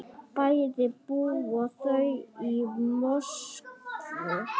Bæði búa þau í Moskvu.